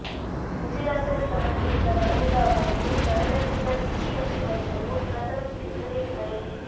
ಉಸಿರಾಟದ ಸಮಸ್ಯೆಯಿಂದ ಬಳಲಿದ ಅವರಿಗೆ ಸ್ಥಳದಲ್ಲಿದ್ದ ಬಿಬಿಎಂಪಿ ವೈದ್ಯರು ಪ್ರಥಮ ಚಿಕಿತ್ಸೆ ನೀಡಿದರು